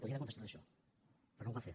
podia haver contestat això però no ho va fer